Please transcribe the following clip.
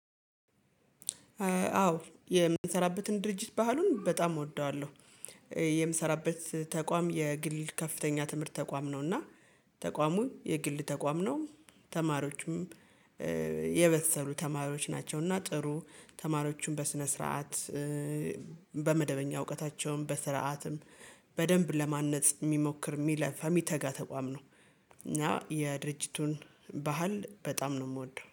አዎ የምንሰራበትን ድርጅት ባህሉን በጣም እወደዋለሁ። የምሰራበት ተቋም የግል ከፍተኛ ትምህርት ተቋም ነው። እና ተቋሙን የግል ተቋም ነው ተማሪዎችም የበሰሉ ተማሪዎች ናቸው። እና ጥሩ ተማሪዎቹም በስነ ስርዓት በመደበኛ እውቀታቸውን በስርዓትም በደንብ ለማነጽ የሚሞክር የሚለፋ የሚተጋ ተቋም ነው። እና የድርጅቱን ባህል በጣም ነው የምወደው